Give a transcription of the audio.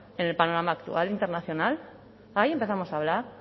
en el panorama actual internacional ahí empezamos a hablar